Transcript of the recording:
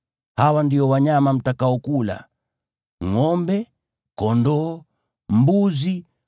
Hawa ndio wanyama mtakaokula: ngʼombe, kondoo, mbuzi,